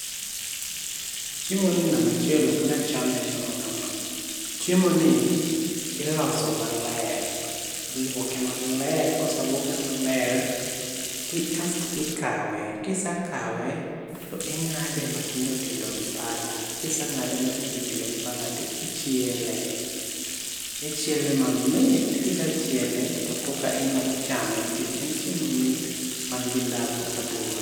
Chiemo ni namba achiel ok nya chame achama ka ma, chiemo ni ilose maler, iluoke maler, kose luoke maler ti kasto ikawe kise kawe to ing'ade ma tindo tindo gi pala kise ng'ade matindotindo gi pala, asto ichiele mamit kisechiel to koka inya chame nikech en chiemo mamit man gi dhandho aduwa.